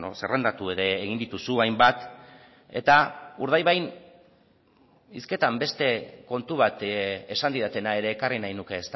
zerrendatu ere egin dituzu hainbat eta urdaibain hizketan beste kontu bat esan didatena ere ekarri nahi nuke